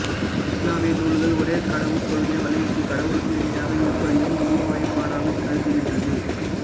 இசுலாமிய நூல்கள் ஒரே கடவுட் கொள்கையை வலியுறுத்தி கடவுளுக்கு இணையாக இருப்பதையும் உருவ வழிபாடாகக் கருதுகின்றது